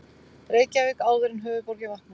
Reykjavík áður en höfuðborgin vaknaði.